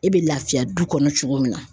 E bɛ lafiya du kɔnɔ cogo min na.